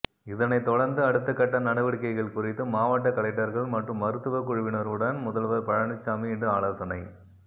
இதனை தொடர்ந்து அடுத்த கட்ட நடவடிக்கைகள் குறித்து மாவட்ட கலெக்டர்கள் மற்றும் மருத்துவ குழுவினருடன் முதல்வர் பழனிசாமி இன்று ஆலோசனை